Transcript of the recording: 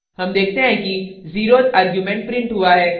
हम देखते हैं कि zeroth argument printed हुआ है